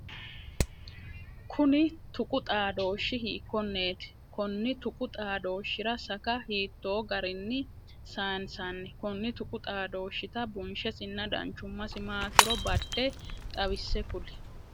Kunni tuqu xaadooshi hiikoneeti? Konni tuqu xaadooshira saka hiitoo garinni sansanni? Konni tuqu xaadooshita bunshesinna danchumasi maatiro bade xawise kuli?